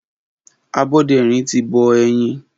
Aboderin ti bọ̀ ẹyin